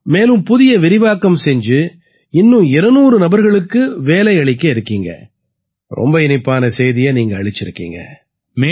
மேலும் புதிய விரிவாக்கம் செய்து இன்னும் 200 நபர்களுக்கு வேலை அளிக்க இருக்கீங்க ரொம்ப இனிப்பான செய்தியை நீங்க அளிச்சிருக்கீங்க